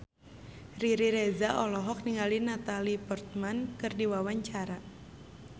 Riri Reza olohok ningali Natalie Portman keur diwawancara